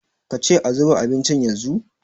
ka ce a zuba abincin yanzu?